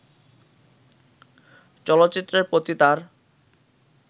চলচ্চিত্রের প্রতি তার